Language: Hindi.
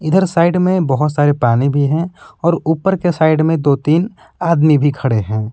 इधर साइड में बहुत सारे पानी भी हैं और ऊपर के साइड में दो तीन आदमी भी खड़े हैं।